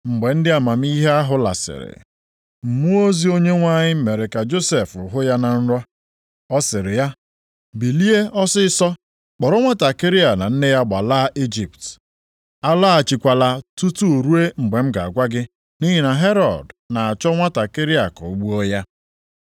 Mgbe ndị amamihe ahụ lasịrị, mmụọ ozi Onyenwe anyị mere ka Josef hụ ya na nrọ, ọ sịrị ya, “Bilie ọsịịsọ kpọrọ nwantakịrị a na nne ya gbalaa Ijipt. Alọghachikwala tutu ruo mgbe m ga-agwa gị, nʼihi na Herọd na-achọ nwantakịrị a ka o gbuo ya.”